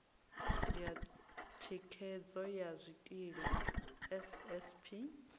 ya thikhedzo ya zwikili ssp